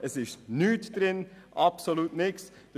Es ist nichts drin, absolut nichts.